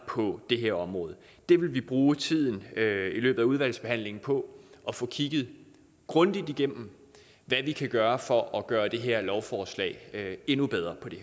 det her område vi vil bruge tiden i løbet af udvalgsbehandlingen på at få kigget grundigt igennem hvad vi kan gøre for at gøre det her lovforslag endnu bedre